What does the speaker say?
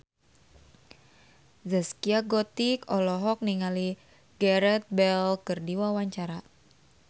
Zaskia Gotik olohok ningali Gareth Bale keur diwawancara